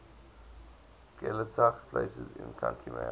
gaeltacht places in county mayo